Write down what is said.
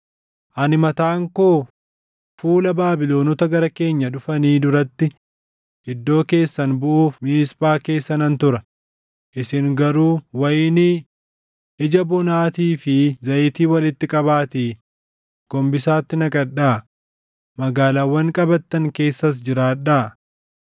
Ani mataan koo fuula Baabilonota gara keenya dhufanii duratti iddoo keessan buʼuuf Miisphaa keessa nan tura; isin garuu wayinii, ija bonaatii fi zayitii walitti qabaatii gombisaatti naqadhaa; magaalaawwan qabattan keessas jiraadhaa.”